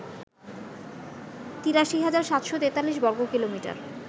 ৮৩৭৪৩ বর্গকিলোমিটার